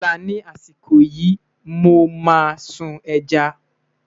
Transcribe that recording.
lọla ní àsìkò yìí, mọ má sun ẹja